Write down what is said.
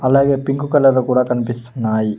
అలాగే పింక్ కలర్లో కూడా కనిపిస్తున్నాయి.